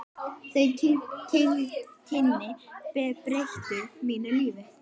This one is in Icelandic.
Þau kynni breyttu mínu lífi.